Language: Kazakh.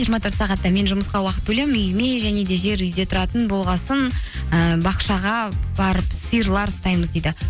жиырма төрт сағатта мен жұмысқа уақыт бөлемін үйіме және де жер үйде тұратын болған соң ыыы бақшаға барып сиырлар ұстаймыз дейді